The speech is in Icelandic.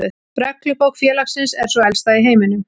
Reglubók félagsins er sú elsta í heiminum.